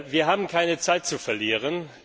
Wir haben keine Zeit zu verlieren.